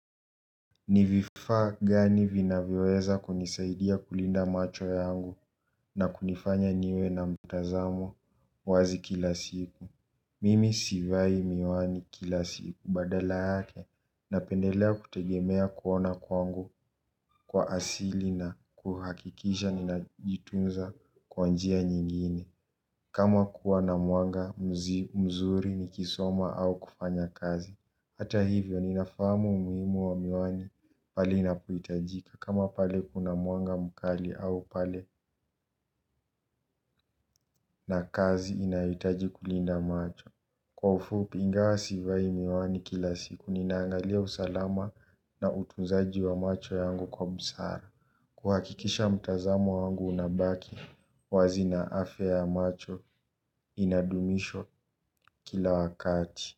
Ni vifaa gani vinavyoweza kunisaidia kulinda macho yangu na kunifanya niwe na mtazamo wazi kila siku. Mimi sivai miwani kila siku badala yake napendelea kutegemea kuona kwangu kwa asili na kuhakikisha ninajitunza kwa njia nyingine. Kama kuwa na mwanga mzuri nikisoma au kufanya kazi hata hivyo ninafahamu umuhimu wa miwani pale inapohitajika kama pale kuna mwanga mukali au pale na kazi inayohitaji kulinda macho. Kwa ufupi ingawa sivai miwani kila siku ninaangalia usalama na utunzaji wa macho yangu kwa busara. Kuhakikisha mtazamo wangu unabaki wazi na afya ya macho inadumishwa kila wakati.